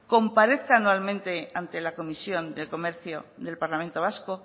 comparezca anualmente ante la comisión de comercio del parlamento vasco